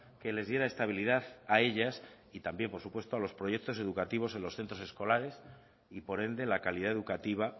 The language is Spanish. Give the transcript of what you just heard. que les diera estabilidad a ellas y también por supuesto a los proyectos educativos en los centros escolares y por ende la calidad educativa